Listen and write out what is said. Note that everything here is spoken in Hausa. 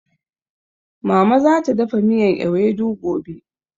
Mama zata dafa miyan ewedu gobe